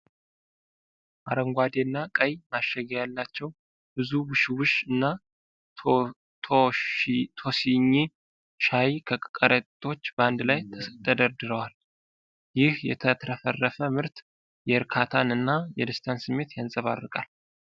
አረንጓዴ እና ቀይ ማሸጊያ ያላቸው ብዙ 'ውሽ ውሽ' እና 'ቶሲኝ' ሻይ ከረጢቶች በአንድ ላይ ተደርድረዋል። ይህ የተትረፈረፈ ምርት የእርካታን እና የደስታን ስሜት ያንጸባርቃል።